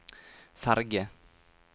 ferge